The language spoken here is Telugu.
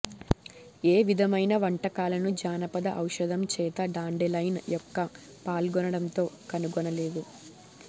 ఏ విధమైన వంటకాలను జానపద ఔషధం చేత డాండెలైన్ యొక్క పాల్గొనడంతో కనుగొనలేదు